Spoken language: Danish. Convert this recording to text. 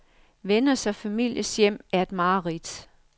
Venners og families hjem er et mareridt.